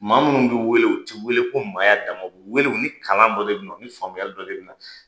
Maa minnu bɛ wele u tɛ wele ko maaya dama wele u ni kalan dɔ debɛ na u ni faamuya dɔ de bɛ na